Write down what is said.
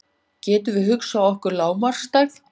Getum við hugsað okkur lágmarksstærð?